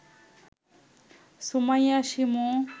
Sumaiya Shimu